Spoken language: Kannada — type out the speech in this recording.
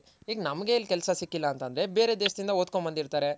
ಈಗ್ ನಮ್ಗೆ ಇಲ್ ಕೆಲ್ಸ ಸಿಕ್ಕಿಲ್ಲ ಅಂತ ಅಂದ್ರೆ ಬೇರೆ ದೇಶದಿಂದ ಓದ್ಕೊಂದ್ ಬಂದಿರ್ತಾರೆ.